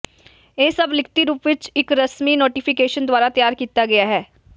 ਇਹ ਸਭ ਲਿਖਤੀ ਰੂਪ ਵਿਚ ਇੱਕ ਰਸਮੀ ਨੋਟੀਫਿਕੇਸ਼ਨ ਦੁਆਰਾ ਤਿਆਰ ਕੀਤਾ ਹੈ